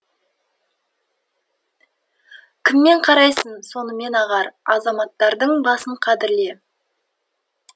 кіммен қарайсаң сонымен ағар азаматтардың басын қадірле